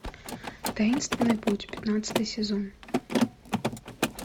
таинственный путь пятнадцатый сезон